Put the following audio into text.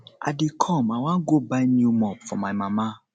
i dey come i wan go buy new mop for my mama